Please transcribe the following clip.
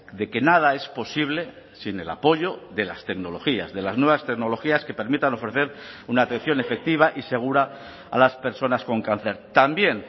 de que nada es posible sin el apoyo de las tecnologías de las nuevas tecnologías que permitan ofrecer una atención efectiva y segura a las personas con cáncer también